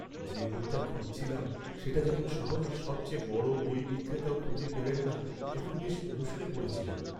যে বইটা খুঁজছিলাম, সেটা যখন শহরের সবচেয়ে বড় বই বিক্রেতাও খুঁজে পেলেন না, তখন বেশ মুষড়ে পড়েছিলাম।